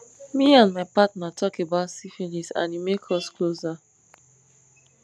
me and my partner talk about syphilis and e make us closer